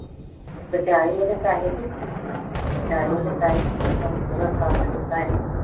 ਬਚਾਏ ਉਹਦੇ ਪੈਸੇ ਅਹ ਬਚਾਏ ਉਹਦੇ ਪੈਸੇ ਤੇ ਸਾਥ ਦਿੱਤਾ ਇਹਨੇ।